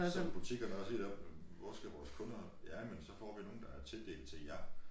Som butikkerne også siger deroppe hvor skal vores kunder ja men så får vi nogen som er tildelt til jer